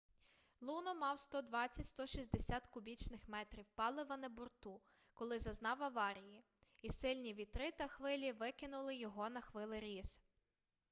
луно мав 120-160 кубічних метрів палива на борту коли зазнав аварії і сильні вітри та хвилі викинули його на хвилеріз